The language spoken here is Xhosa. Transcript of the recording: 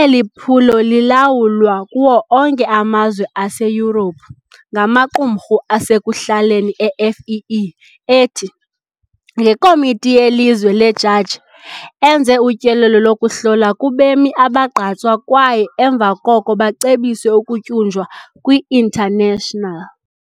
eli phulo lilawulwa kuwo onke amazwe aseYurophu ngamaqumrhu asekuhlaleni e-FEE ethi, ngekomiti yelizwe lejaji, enze utyelelo lokuhlola kubemi abagqatswa kwaye emva koko bacebise ukutyunjwa kwi-International.